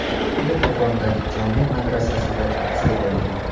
U Qo‘qondagi jome’ madrasasida tahsil olgan.